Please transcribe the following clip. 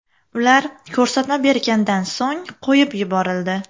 Ular ko‘rsatma bergandan so‘ng qo‘yib yuborildi.